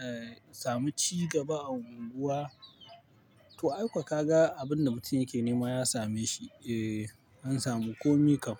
a samu cigaba a unguwa. To, aikwa ka ga abin da mutum yake nema ya same shi, eh an samu komi kam.